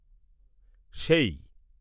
সেই